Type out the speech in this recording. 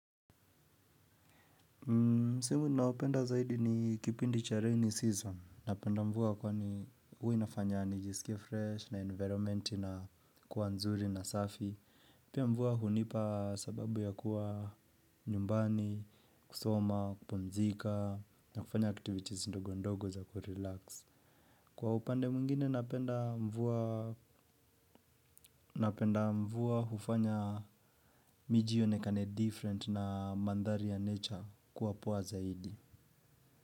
Msimu ninaopenda zaidi ni kipindi cha rainy season. Napenda mvua kwani huwa inafanya nijisikie fresh na environment inakuwa nzuri na safi. Pia mvua hunipa sababu ya kuwa nyumbani, kusoma, kupumzika na kufanya activities ndogo ndogo za kurelax. Kwa upande mwingine napenda mvua hufanya miji ionekane different na mandhari ya nature kuwa poa zaidi.